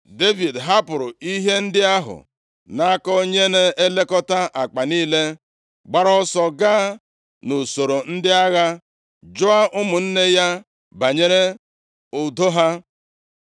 Devid hapụrụ ihe ndị ahụ nʼaka onye na-elekọta akpa niile, gbara ọsọ gaa nʼusoro ndị agha jụọ ụmụnne ya banyere udo ha.